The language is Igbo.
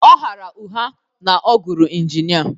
Ọ ghaara ụgha na ọ gụrụ injinia